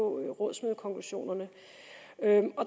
rådsmødekonklusionerne